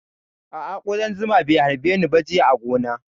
A'a ƙudan zuma bai harbe ni ba jiya a gona